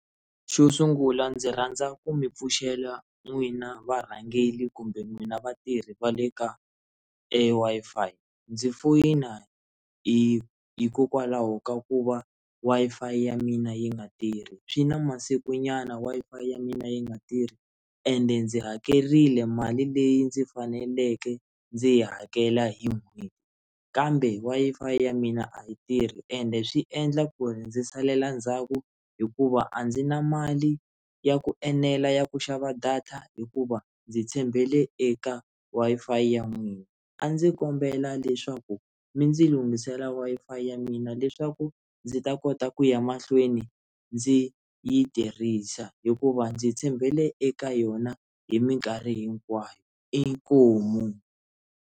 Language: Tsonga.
Xo sungula ndzi rhandza ku mi pfuxela n'wina varhangeli kumbe n'wina vatirhi va le ka eWi-Fi ndzi foyina hi hikokwalaho ka ku va Wi-Fi ya mina yi nga tirhi swi na masiku nyana Wi-Fi ya mina yi nga tirhi ende ndzi hakerile mali leyi ndzi faneleke ndzi yi hakela hi n'hweti kambe Wi-Fi ya mina a yi tirhi ende swi endla ku ri ndzi salela ndzhaku hikuva a ndzi na mali ya ku enela ya ku xava data hikuva ndzi tshembele eka Wi-Fi ya n'wina a ndzi kombela leswaku mi ndzi lungisela Wi-Fi ya mina leswaku ku ndzi ta kota ku ya mahlweni ndzi yi tirhisa hikuva ndzi tshembele eka yona hi minkarhi hinkwayo, inkomu.